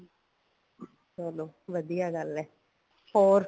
ਚਲੋ ਵਧੀਆ ਗੱਲ ਏ ਹੋਰ